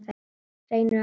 Reynir og Henný.